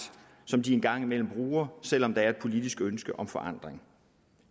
som de en gang imellem bruger selv om der er et politisk ønske om forandring